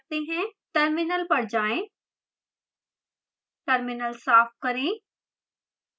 terminal पर जाएं terminal साफ करें